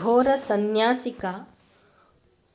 घोरसन्न्यासिका